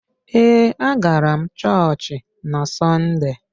Ee, a gara m chọọchị n'Sọnde.